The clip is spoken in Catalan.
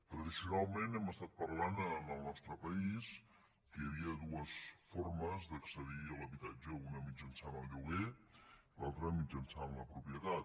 tradicionalment hem estat parlant en el nostre país que hi havia dues formes d’accedir a l’habitatge una mitjançant el lloguer l’altra mitjançant la propie tat